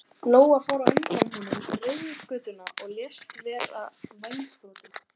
Lóa fór á undan honum reiðgötuna og lést vera vængbrotin.